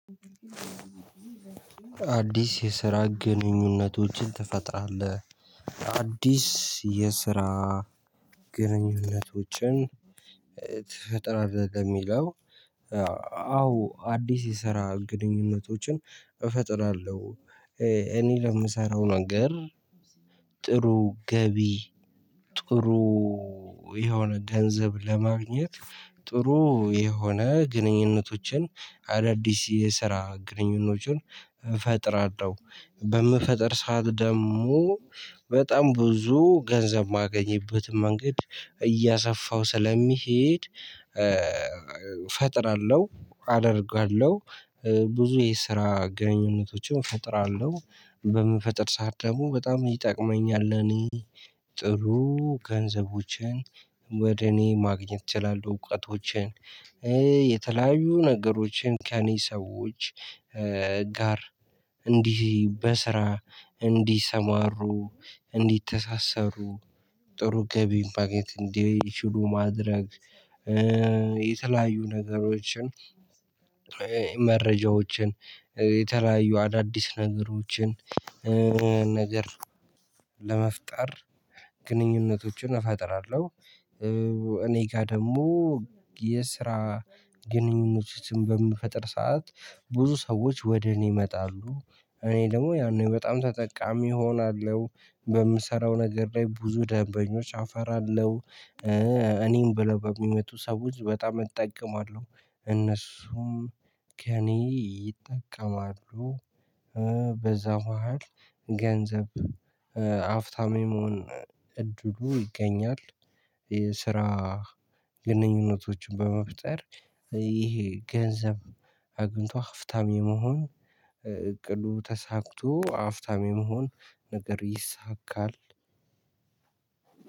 አዲስ የስራ ግንኙነቶችን ትፈጥራለህ አዲስ የስራ ግንኙነቶችን ትፈጥራለህ የሚለው? አዎ አዲስ የሰራ ግንኙነቶችን እፈጥራለሁ እኔ ለምሰራው ነገር ጥሩ ገቢ ጥሩ የሆነ ገንዘብ ለማግኘት ጥሩ የሆነ ግንኙነቶችን አዳዲስ የስራ ግንኙነቶችን ፈጥራለሁ በምፈጥር ሰዓት ደግሞ በጣም ብዙ ገንዘብ ማገኘበትም መንገድ እያሰፋሁ ስለሚሄድ። ፈጥራለሁ አደርጋለሁ ብዙ የስራ ግንኙነቶችን ፈጥራለሁ በምፈጥር ሰዓት ደግሞ በጣም ይጠቅመኛል ለእኔ ጥሩ ገንዘቦችን ወደ እኔ ማግኘት እችላለሁ እውቀቶችን። የተለያዩ ነገሮችን ከእኔ ሰዎች ጋር እንዲህ በስራ እንዲሰማሩ እንዲተሳሰሩ ጥሩ ገቢ ማግኘት እንዲችሉ ማድረግ። የተለያዩ ነገሮችን መረጃዎችን የተለያዩ አዳዲስ ነገሮችን ነገር ለመፍጠር ግንኙነቶችን እፈጥራለሁ። እኔ ጋር ደግሞ የስራ ግንኙነቶችን በምፈጥር ሰዓት ብዙ ሰዎች ወደ እኔ ይመጣሉ እኔ ደግሞ ያኔ በጣም ተጠቃሚ እሆናለሁ በምሰራው ነገር ላይ ብዙ ደንበኞች አፈራለሁ። እኔይ ብለው በሚመጡ ሰዎች በጣም እጠቀማለሁ እነሱም ከእኔ ይጠቀማሉ። በዛ መሃል ገንዘብ አፍታም የመሆን እድሉ ይገኛል። የስራ ግንኙነቶችን በመፍጠር ይሄ ገንዘብ አግኝቶ ሀፍታም የመሆን እቅዱ ተሳክቶ አፍታም የመሆን ነገር ይሳካል።